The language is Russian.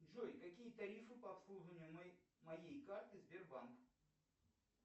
джой какие тарифы по обслуживанию моей карты сбербанк